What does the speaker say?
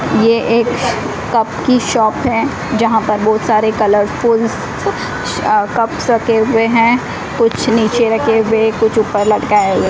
ये एक कप की शॉप है जहां पर बहोत सारे कलरफुल स अ कप रखे हुए हैं कुछ नीचे रखे हुए कुछ ऊपर लटकाए हुए --